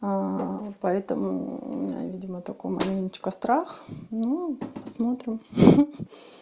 поэтому видимо только маленечко страх ну посмотрим